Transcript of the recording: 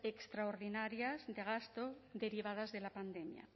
extraordinarias de gasto derivadas de la pandemia